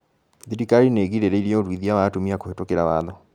Thirikari nĩ ĩgirĩrĩirie ũruithia wa atumia kũhetũkĩra watho